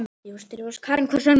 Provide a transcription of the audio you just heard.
Karen: Hvers vegna?